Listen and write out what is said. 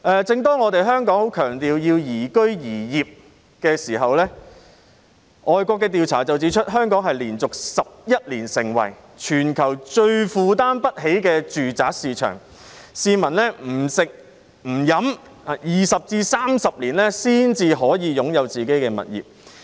正當香港十分強調要宜居宜業的時候，外國有調查指出，香港連續11年成為全球最負擔不起的住宅市場，市民不吃不喝20年至30年，才可以擁有自己的物業。